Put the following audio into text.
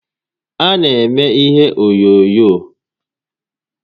A na eme ihe n'onyoonyoo